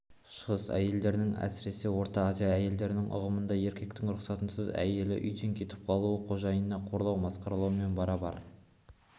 шығыс әйелдерінің әсіресе орта азия әйелдерінің ұғымында еркектің рұқсатынсыз әйелі үйден кетіп қалу қожайынды қорлау масқаралаумен барабар